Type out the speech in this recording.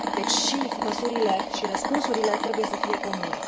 Deci, și măsurile și răspunsurile trebuie să fie comune.